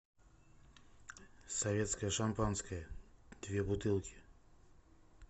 советское шампанское две бутылки